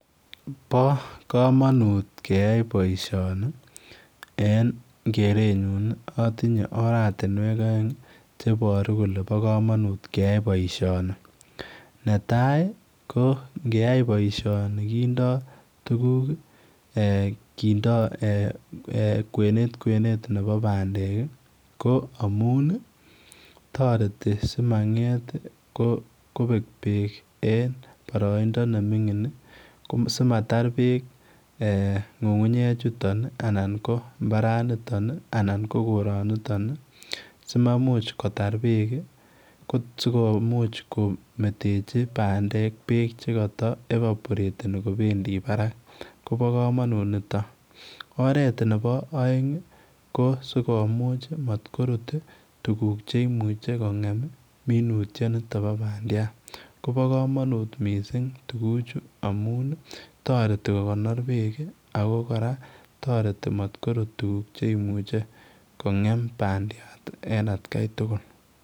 Bo kamanut keyai boisioni, en keretnyuun atinyei oratinweek aeng che baruu kole bo kamanuut keyai boisioni, netai ii ko ngeyai boisioni kindaa tuguuk, kindaa eeh kwenet kwenet nebo pandeek ii ko amuun ii taretii simangeet ii kobeek beek en baraindaa ne mingiin, simataar beek ngungunyeek chutoon ii anan ko mbaran nitoon ii anan ko koroniton ii simamuuch kotaar beek sikometechi pandeek beek che kataevaporeteni kobendii Barak kobaa kamanuut nito, oret nebo aeng ko simakoruut tuguuk cheimuuchei ko ngem minutiet nitoon bo bandiat, bo kamanuut missing tuguchuu amuun ii taretii kokoknor beek ako taretii koruut tuguuk che maimuchei kongem pandiat en at gai tugul.